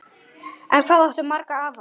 En hvað áttu marga afa?